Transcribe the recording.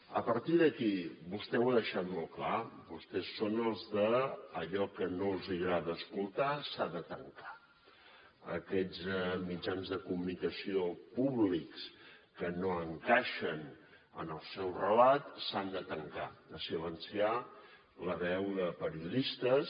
a partir d’aquí vostè ho ha deixat molt clar vostès són els de allò que no els agrada escoltar s’ha de tancar aquests mitjans de comunicació públics que no encaixen en el seu relat s’han de tancar de silenciar la veu de periodistes